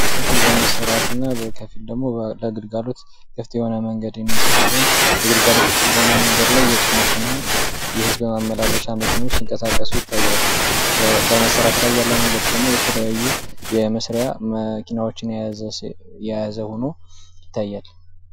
በመሰራት እና በከፊል ደሞ ለግልጋሎት ክፍት የሆነ መንገድ ሲሆን ለግልጋሎት ክፍት በሆነው መንገድ ላይ የጭነትም የህዝብ ማመላለሻ መኪኖች ሲንቀሳቀሱ ይታያል። በመሰራት ላይ ያለው መንገድ ደሞ የተለያዩ የመስሪያ መኪኖችን የያዘ ሆኖ ይታያል።